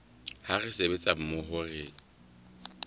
ha re sebetsa mmoho re